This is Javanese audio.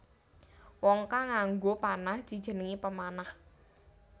Wong kang nganggo panah dijenengi pemanah